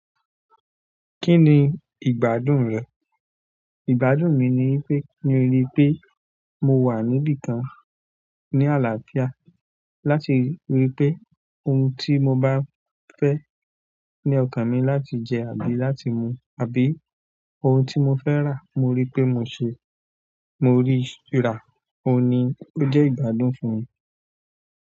Kí ni ìgbádùn rẹ? Ìgbádùn mi ni pé, ki n rí pé mo wà níbí kan ní àlàáfíà láti rí pé ohun tí mo bá fẹ́ ní ọkàn mi láti jẹ àbí láti mu àbí ohun tí mo fẹ́ rà mo rí pé mo ṣe, mo rí i rà. Óun ni ó jẹ́ ìgbádùn fún mi.